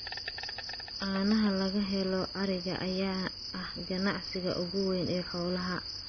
Caanaha laga helo ariga ayaa ah ganacsiga ugu weyn ee xoolaha.